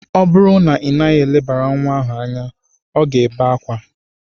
Ọ bụrụ na ị naghị elebara nwa ahụ anya, ọ ga-ebe akwa.